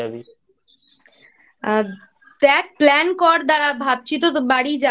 দ্যাখ Plan কর দাঁড়া ভাবছি তোর বাড়ি যাব